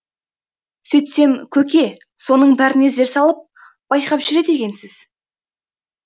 сөйтсем көке соның бәріне зер салып байқап жүреді екенсіз